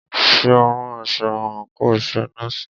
Ṣé o ń rán aṣọ àńkò iṣẹ nọ́ọ̀sì?